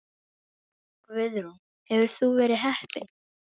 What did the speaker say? Guðrún: Hefur þú verið heppin?